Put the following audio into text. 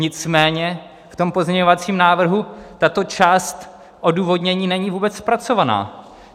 Nicméně v tom pozměňovacím návrhu tato část odůvodnění není vůbec zpracovaná.